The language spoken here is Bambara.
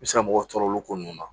I bɛ se ka mɔgɔ tɔɔrɔ olu ko ninnu na